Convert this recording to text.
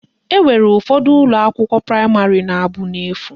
Enwere ụfọdụ ụlọakwụkwọ praịmarị na-abụ n'efu